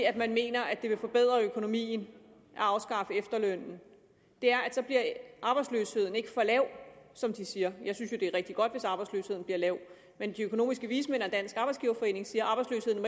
at man mener at det vil forbedre økonomien at afskaffe efterlønnen er at så bliver arbejdsløsheden ikke for lav som de siger jeg synes jo at det er rigtig godt hvis arbejdsløsheden bliver lav men de økonomiske vismænd og dansk arbejdsgiverforening siger